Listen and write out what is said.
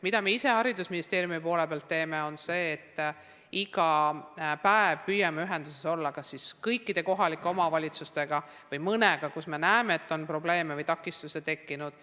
Mida me haridusministeeriumis ise teeme, on see, et iga päev püüame ühenduses olla kas siis kõikide kohalike omavalitsustega või mõnega, kus me näeme, et on probleeme või takistusi tekkinud.